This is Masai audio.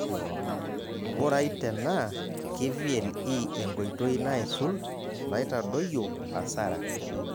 Ng'urai tenaa ke VLE enkoitoi naisul naitadoyio hasara